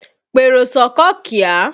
Pèrò s'ọ́kọ̀ kíá!